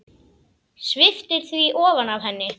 Sviptir því ofan af henni.